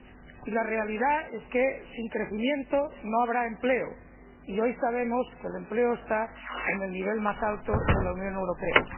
Y la realidad es que, sin crecimiento, no habrá empleo, y hoy sabemos que el desempleo está en el nivel más alto de la Unión Europea.